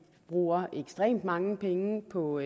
bruger ekstremt mange penge på